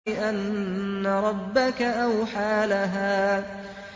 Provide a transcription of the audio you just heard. بِأَنَّ رَبَّكَ أَوْحَىٰ لَهَا